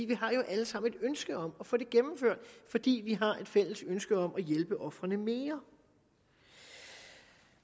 vi har jo alle sammen et ønske om at få det gennemført fordi vi har et fælles ønske om at hjælpe ofrene mere